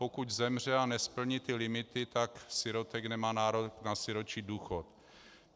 Pokud zemře a nesplní ty limity, tak sirotek nemá nárok na sirotčí důchod.